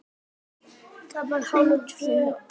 Það var hárfínt ógilt.